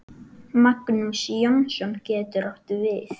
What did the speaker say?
Magnús Jónsson getur átt við